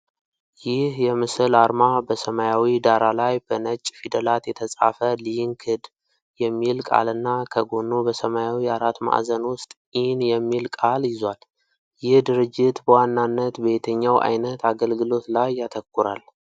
ይህ የምስል አርማ በሰማያዊ ዳራ ላይ በነጭ ፊደላት የተጻፈ “ሊንክድ” የሚል ቃልና ከጎኑ በሰማያዊ አራት ማዕዘን ውስጥ "ኢን" የሚል ቃል ይዟል። ይህ ድርጅት በዋናነት በየትኛው ዓይነት አገልግሎት ላይ ያተኩራል?